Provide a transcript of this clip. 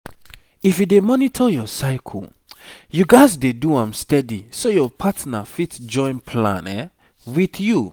natural family planning need make you dey monitor yourself steady so e go match your personal personal belief.